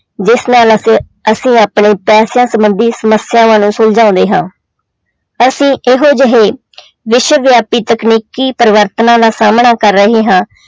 ਜਿਸ ਨਾਲ ਅਸੀਂ, ਅਸੀਂ ਆਪਣੇ ਪੈਸਿਆਂ ਸੰਬੰਧੀ ਸਮੱਸਿਆਵਾਂ ਨੂੰ ਸੁਲਝਾਉਂਦੇ ਹਾਂ, ਅਸੀਂ ਇਹੋ ਜਿਹੇ ਵਿਸ਼ਵ ਵਿਆਪੀ ਤਕਨੀਕੀ ਪਰਿਵਰਤਨਾਂ ਦਾ ਸਾਹਮਣਾ ਕਰ ਹਰੇ ਹਾਂ,